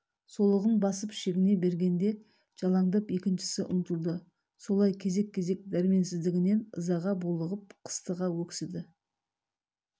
солығын басып шегіне бергенде жалаңдап екіншісі ұмтылды солай кезек-кезек дәрменсіздігінен ызаға булығып қыстыға өксіді